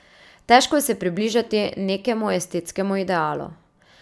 Težko se je približati nekemu estetskemu idealu.